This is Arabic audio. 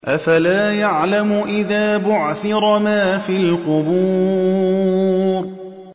۞ أَفَلَا يَعْلَمُ إِذَا بُعْثِرَ مَا فِي الْقُبُورِ